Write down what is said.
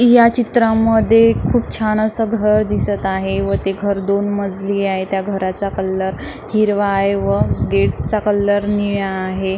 ह्या चित्रामध्ये खूप छान असं घर दिसत आहे व ते घर दोन मजली आहे त्या घराचा कलर हिरवा आहे व गेटचा कलर निळा आहे.